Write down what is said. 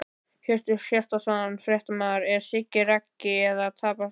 Hjörtur Hjartarson, fréttamaður: Er Siggi Raggi að tapa sér?!